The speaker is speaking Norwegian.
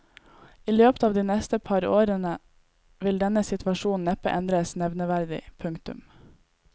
I løpet av de neste par år vil denne situasjonen neppe endres nevneverdig. punktum